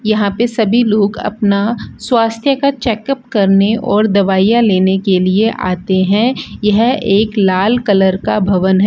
यहां पे सभी लोग अपना स्वास्थ्य का चेकअप करने और दवाइयां लेने के लिए आते हैं यह एक लाल कलर का भवन है।